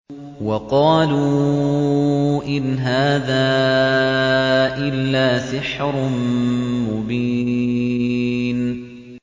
وَقَالُوا إِنْ هَٰذَا إِلَّا سِحْرٌ مُّبِينٌ